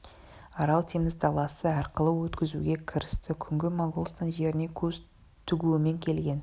арал теңіз даласы арқылы өткізуге кірісті күнгі моғолстан жеріне көз тігумен келген